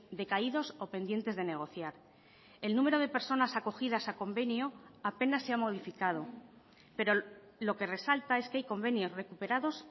decaídos o pendientes de negociar el número de personas acogidas a convenio apenas se ha modificado pero lo que resalta es que hay convenios recuperados